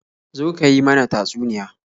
Zo ka yi mana tatsuniya.